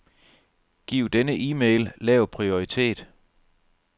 Giv denne e-mail lav prioritet.